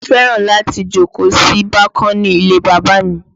Mo fẹ́ràn láti jókòó sí bákónì ilé bàbá mi